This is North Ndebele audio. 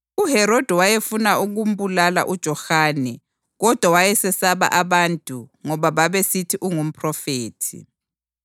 UHerodi wayefuna ukumbulala uJohane kodwa wayesesaba abantu ngoba babesithi ungumphrofethi.